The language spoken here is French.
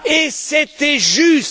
et c'était juste.